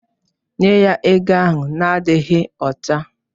Nye ya ego ahụ na-adịghị ọcha!